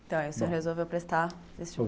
Então, aí o senhor resolveu prestar vestibular.